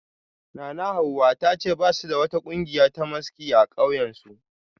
Nanahawa ta ce ba su da wata kungiya ta maski a kauyensu